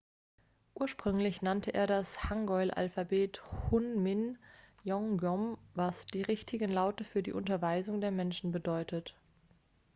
ursprünglich nannte er das hangeul-alphabet hunmin jeongeum was die richtigen laute für die unterweisung der menschen bedeutet